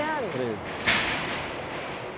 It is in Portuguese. Anos? Treze